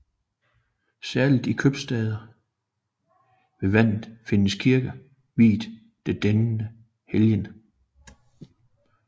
Særligt i købstader ved vandet findes kirker viet til denne helgen